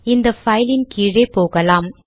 இந்த பைலின் கீழே போகலாம்